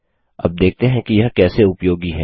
अब देखते हैं कि यह कैसे उपयोगी है